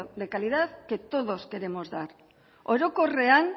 de calidad que todos queremos dar orokorrean